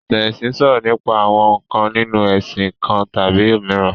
Ìtàn ẹ̀sìn sọ̀rọ̀ nípa àwọn ǹkan nínu ẹ̀sìn kan tàbí òmíràn